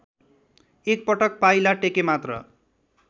एकपटक पाइला टेकेमात्र